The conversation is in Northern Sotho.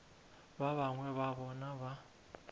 ba bangwe ba bona ba